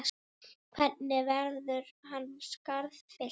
Hvernig verður hans skarð fyllt?